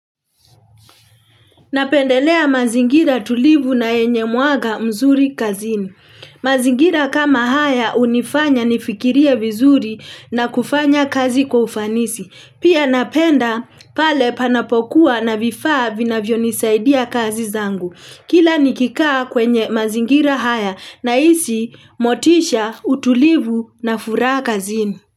Napendelea mazingira tulivu na yenye mwaga mzuri kazini. Mazingira kama haya hunifanya nifikirie vizuri na kufanya kazi kwa ufanisi. Pia napenda pale panapokuwa na vifaa vinavyo nisaidia kazi zangu. Kila nikikaa kwenye mazingira haya ninahisi motisha utulivu na furaha kazini.